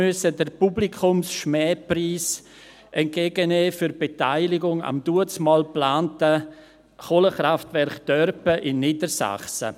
– Sie musste damals den Publikums-Schmähpreis entgegennehmen für die Beteiligung am damals geplanten Kohlekraftwerk Dörpen in Niedersachsen.